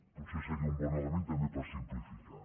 potser seria un bon element també per simplificar